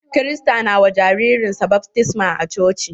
Kirista na wa jaririn sa baftisma a coci.